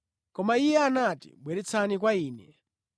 Koma Iye anati, “Bweretsani kwa Ine.”